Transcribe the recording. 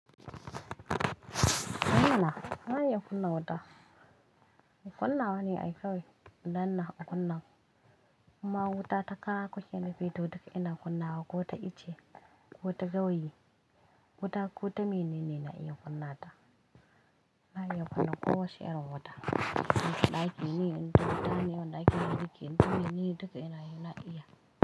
Eh mana na iya kunna wuta. Kunnawa ne a kawai idan na kunna. Imma wuta ta kara kuke nufi to duka ina kunna wa ko ta ice, ko ta gawayi, wuta ko ta menene na iya kunna ta. Na iya kunna ko wace irin wuta. In da ɗakin yi, in ta wuta ne, wanda ake yin girki in da wuri ne duka ina yi na iya.